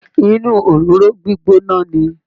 Inú òróró gbígbóná ni